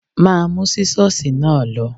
Má mú Sísọ́sìì náà lọ.